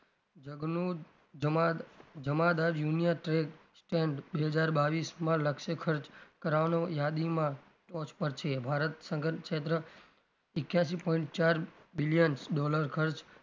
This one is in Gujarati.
જગનું જમાદ જમાદ union trend stand બે હજાર બાવીશમાં લક્ષે ખર્ચ કરવાનું યાદીમાં torch પર છે ભારત સંગઠિત ક્ષેત્ર એક્યાશી point ચાર billion dollar ખર્ચ,